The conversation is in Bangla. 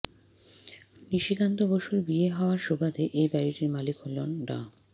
নিশিকান্ত বসুর বিয়ের হওয়ার সুবাদে এই বাড়ীটির মালিক হন ডা